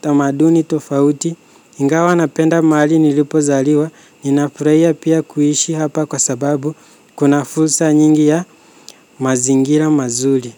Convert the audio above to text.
tamaduni tofauti, ingawa napenda mahali nilipozaliwa ninafraiya pia kuhishi hapa kwa sababu kuna fursa nyingi ya mazingira mazuli.